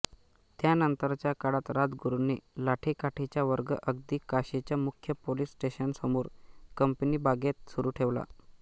त्यानंतरच्या काळात राजगुरूंनी लाठीकाठीचा वर्ग अगदी काशीच्या मुख्य पोलीस स्टेशनसमोर कंपनीबागेत सुरू ठेवला